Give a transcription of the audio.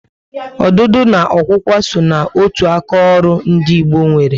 Ọdụdụ na okwukwa só na otu aka ọrụ ndị Igbo nwéré